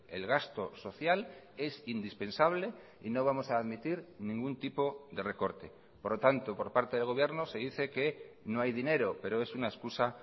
el gasto social es indispensable y no vamos a admitir ningún tipo de recorte por lo tanto por parte del gobierno se dice que no hay dinero pero es una excusa